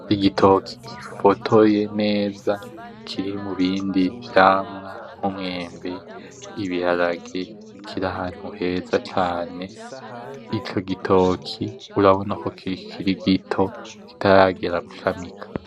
Igitoke gifotoye neza kiri mubindi vyamwa umwembe, ibiharage, kiri ahantu heza cane. Ico gitoki urabona ko kikiri gito kitaragera gutamika.